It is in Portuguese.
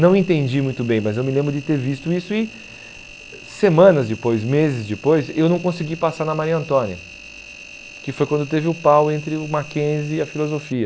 Não entendi muito bem, mas eu me lembro de ter visto isso e semanas depois, meses depois, eu não consegui passar na Maria Antônia, que foi quando teve o pau entre o Mackenzie e a filosofia.